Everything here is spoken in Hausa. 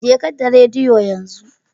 Jeka da rediyo yanzu